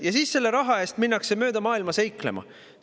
Ja siis minnakse selle raha eest mööda maailma seiklema!